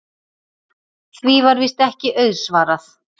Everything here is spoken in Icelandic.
Því var víst ekki auðsvarað.